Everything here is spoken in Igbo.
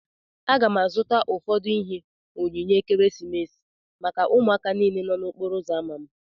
Aga m azụta ụfọdụ ihe onyinye ekeresimesi maka ụmụaka niile nọ n'okporo uzo ámá m